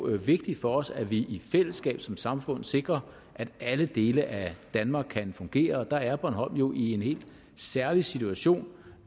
er vigtigt for os at vi i fællesskab som samfund sikrer at alle dele af danmark kan fungere og der er bornholm jo i en helt særlig situation